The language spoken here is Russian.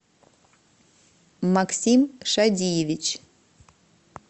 максим шадиевич